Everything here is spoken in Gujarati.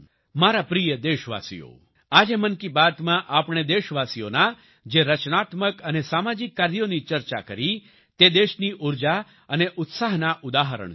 મારા પ્રિય દેશવાસીઓ આજે મન કી બાત માં આપણે દેશવાસીઓના જે રચનાત્મક અને સામાજિક કાર્યોની ચર્ચા કરી તે દેશની ઉર્જા અને ઉત્સાહના ઉદાહરણ છે